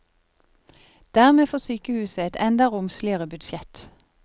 Dermed får sykehuset et enda romsligere budsjett.